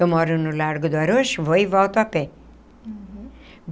Eu moro no Largo do Arouche, vou e volto a pé.